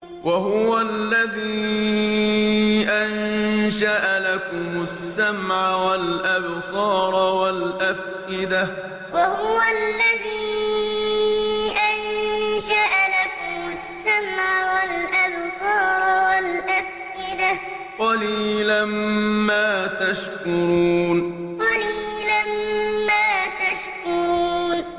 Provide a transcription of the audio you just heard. وَهُوَ الَّذِي أَنشَأَ لَكُمُ السَّمْعَ وَالْأَبْصَارَ وَالْأَفْئِدَةَ ۚ قَلِيلًا مَّا تَشْكُرُونَ وَهُوَ الَّذِي أَنشَأَ لَكُمُ السَّمْعَ وَالْأَبْصَارَ وَالْأَفْئِدَةَ ۚ قَلِيلًا مَّا تَشْكُرُونَ